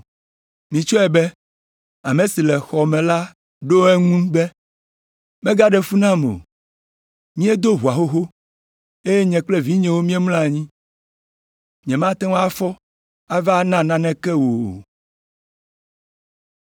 “Mitsɔe be ame si le xɔ me la ɖo eŋu be, ‘Mègaɖe fu nam o. Míedo ʋɔa xoxo, eye nye kple vinyewo míemlɔ anyi. Nyemate ŋu afɔ ava na naneke wò o.’